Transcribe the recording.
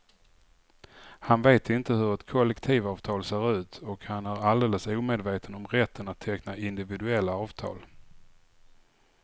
Han vet inte hur ett kollektivavtal ser ut och han är alldeles omedveten om rätten att teckna individuella avtal.